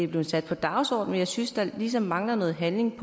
blevet sat på dagsordenen men jeg synes der ligesom mangler noget handling